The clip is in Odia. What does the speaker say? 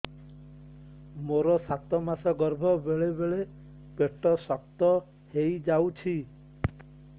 ମୋର ସାତ ମାସ ଗର୍ଭ ବେଳେ ବେଳେ ପେଟ ଶକ୍ତ ହେଇଯାଉଛି